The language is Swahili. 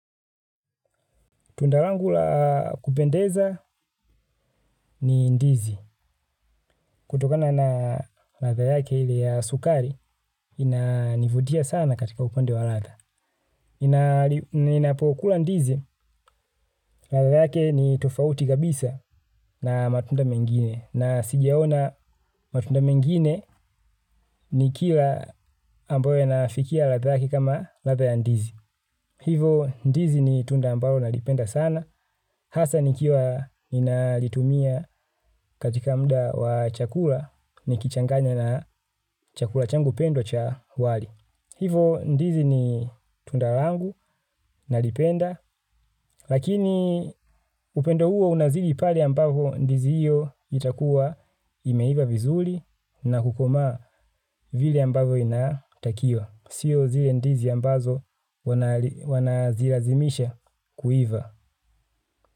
Tunda rangu la kupendeza ni ndizi. Kutokana na latha yake ile ya sukari, ina nivudia sana katika upande wa latha. Ninapokula ndizi, latha yake ni tofauti kabisa na matunda mengine. Na sijaona matunda mengine ni kila ambae inafikia latha yake kama latha ya ndizi. Hivo ndizi ni tunda ambalo na lipenda sana, hasa nikiwa ninalitumia katika mda wa chakula ni kichanganya na chakula changu pendo cha wali. Hivo ndizi ni tunda yangu nalipenda, lakini upendo huo unazidi pale ambapo ndizi iyo itakuwa imeiva vizuri na kukomaa vile ambavyo inatakiwa. Sio zile ndizi ambazo wanazilazimisha kuiva.